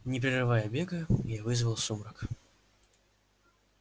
не прерывая бега я вызвал сумрак